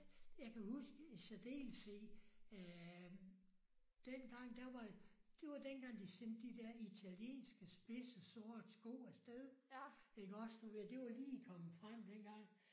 Jeg kan huske i særdeleshed at dengang der var det var dengang de sendte de der italienske spidse sorte sko afsted iggås du ved det var lige kommet frem dengang